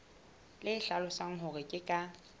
le hlalosang hore ke ka